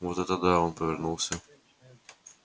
вот это да он повернулся